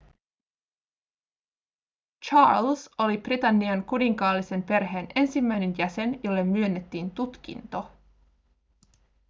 charles oli britannian kuninkaallisen perheen ensimmäinen jäsen jolle myönnettiin tutkinto